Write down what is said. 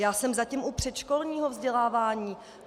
Já jsem zatím u předškolního vzdělávání.